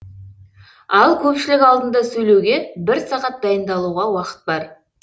ал көпшілік алдында сөйлеуге бір сағат дайындалуға уақыт бар